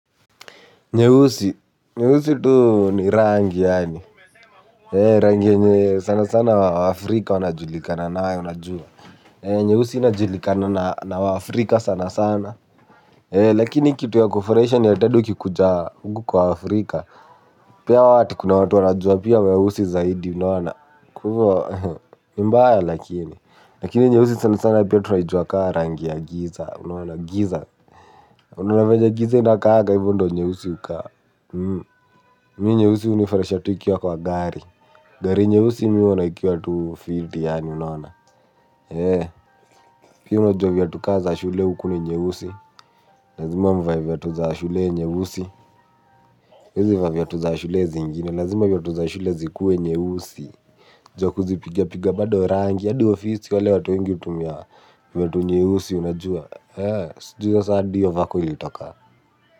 Nyeusi. Nyeusi tu ni rangi yaani. Rangi yenye sana sana wa Afrika wanajulikana nayo najua. Nyeusi inajulikana na wa Afrika sana sana. Lakini kitu ya kufurahisha ni ati hadi ukikuja huku kwa Afrika. Pia hao watu kuna watu wanajua pia weusi zaidi unaona. Kuwa ni mbaya lakini. Lakini nyeusi sana sana pia tunaijuwa kaa rangi ya giza unaona giza. Unaona venye giza inakaanga hivo ndo nyeusi hukaa. Mi nyeusi hunifurahisha tu ikiwa kwa gari gari nyeusi mi huona ikiwa tu fiti yaani unaona lakini unajua viatu ka za shule huku ni nyeusi lazima mvae viatu za shule nyeusi huwezi vaa viatu za shule zingine lazima viatu za shule zikuwe nyeusi. Ju ya kuzipiga piga bado rangi, hadi ofisi wale watu wengi hutumia viatu nyeusi unajua ju hio sa ndiyo vako ilitoka.